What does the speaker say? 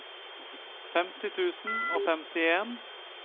femti tusen og femtien